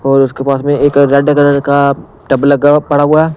और उसके पास में एक रेड कलर का टब लगा पड़ा हुआ है।